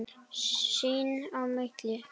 Sín á milli.